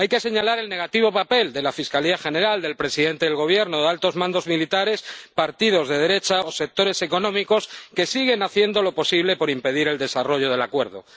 Hay que señalar el negativo papel de la Fiscalía General, del presidente del Gobierno, de altos mandos militares, partidos de derecha o sectores económicos que siguen haciendo lo posible por impedir el desarrollo del acuerdo.